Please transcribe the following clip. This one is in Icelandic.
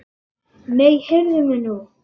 Nei, heyrðu mig nú!